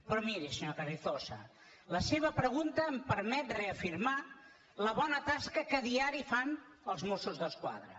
però miri senyor carrizosa la seva pregunta em permet reafirmar la bona tasca que a diari fan els mossos d’esquadra